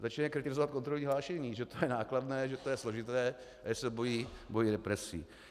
Začínají kritizovat kontrolní hlášení, že to je nákladné, že je to složité a že se bojí represí.